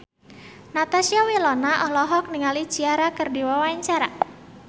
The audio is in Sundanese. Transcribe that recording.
Natasha Wilona olohok ningali Ciara keur diwawancara